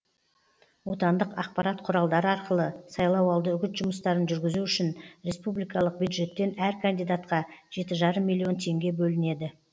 отандық ақпарат құралдары арқылы сайлауалды үгіт жұмыстарын жүргізу үшін республикалық бюджеттен әр кандидатқа жеті жарым миллион теңге бөлінеді